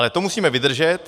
Ale to musíme vydržet.